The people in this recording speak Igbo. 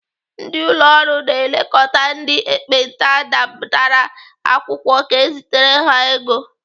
Ndị ụlọ ọrụ na-elekọta ndị ekpenta detara akwụkwọ ka ezitere ha ego.